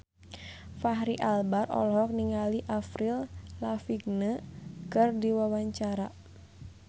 Fachri Albar olohok ningali Avril Lavigne keur diwawancara